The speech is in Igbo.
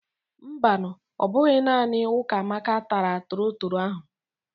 Mbanu, ọ bụghị naanị Ukamaka taara torotoro ahụ.